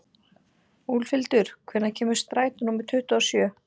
Úlfhildur, hvenær kemur strætó númer tuttugu og sjö?